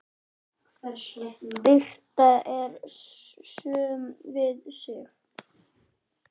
Birtan er söm við sig.